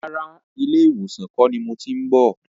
Rárá, ilé ìwòsàn kọ́ ni mo ti ń bọ̀.